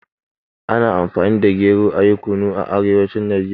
Ana Amfani da gero ayi Kunu a arewacin Najeriya.